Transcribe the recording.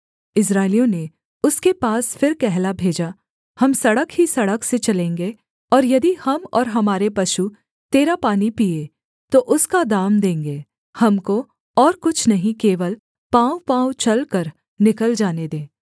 इस्राएलियों ने उसके पास फिर कहला भेजा हम सड़क ही सड़क से चलेंगे और यदि हम और हमारे पशु तेरा पानी पीएँ तो उसका दाम देंगे हमको और कुछ नहीं केवल पाँवपाँव चलकर निकल जाने दे